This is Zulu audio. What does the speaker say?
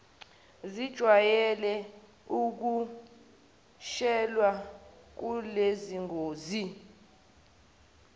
zijwayele ukuqashelwa kulezingosi